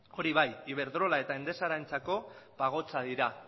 hori bai iberdrola eta endesarentzako pagotxa dira